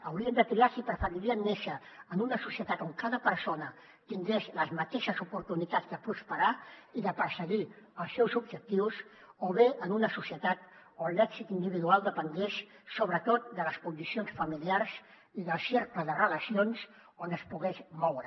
haurien de triar si preferirien néixer en una societat on cada persona tingués les mateixes oportunitats de prosperar i de perseguir els seus objectius o bé en una societat on l’èxit individual depengués sobretot de les condicions familiars i del cercle de relacions on es pogués moure